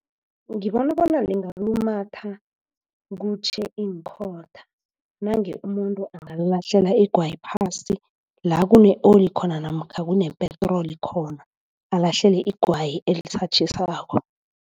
Ngibona bona lingalumatha kutjhe iinkhotha. Nange umuntu angalahlela igwayi phasi la kune-oli khona namkha kunepetroli khona alahlele igwayi elisatjhisako.